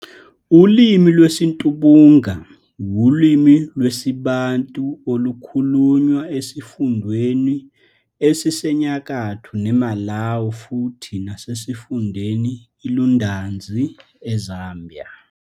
Ulimi lwesiTumbuka wulimi lwesiBantu olukhulunywa esifundeni esiseNyakatho neMalawi futhi nasesifundeni iLundazi eZambia.